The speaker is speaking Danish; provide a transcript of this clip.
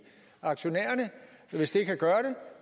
aktionærerne hvis det kan gøre